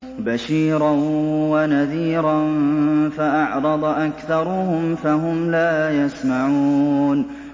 بَشِيرًا وَنَذِيرًا فَأَعْرَضَ أَكْثَرُهُمْ فَهُمْ لَا يَسْمَعُونَ